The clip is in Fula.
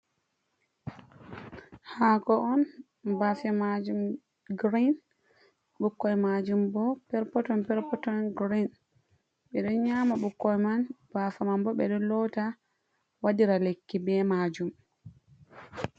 Haako on bafe majum girin ɓukkoi majum bo perpoton perpoton girin ɓe ɗo nyama ɓukkoi man bafa man bo ɓeɗo lota waɗira lekki be majum.